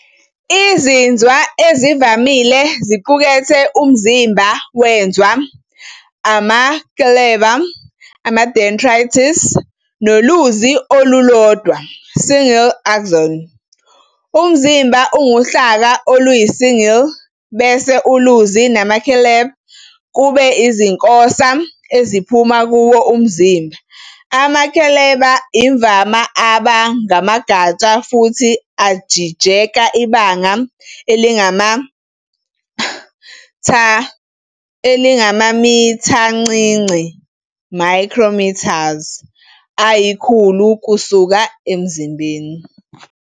Izinzwa ezivamile ziqukethe umzimba wenZwa, amakleleba "dendrites", noluzi olulodwa "single axon". Umzimba unguhlaka oluyisiyingili, bese uluzi namakleleba kube izinkosa eziphuma kuwo umzimba. Amakleleba imvama aba ngamagatsha futhi ajijeka ibanga elingamamithancinci "micrometers" ayikhulu kusuka emzimbeni.